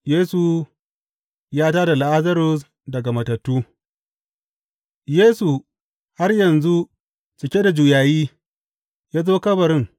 Yesu ya tā da Lazarus daga matattu Yesu, har yanzu cike da juyayi, ya zo kabarin.